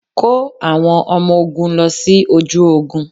Kó àwọn ọmọ ogún lọ sí ojú ogún.